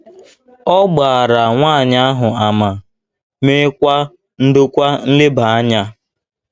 Ọ gbaara nwaanyị ahụ àmà, meekwa ndokwa nleba anya